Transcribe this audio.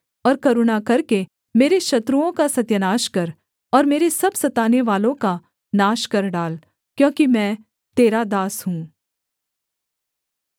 और करुणा करके मेरे शत्रुओं का सत्यानाश कर और मेरे सब सतानेवालों का नाश कर डाल क्योंकि मैं तेरा दास हूँ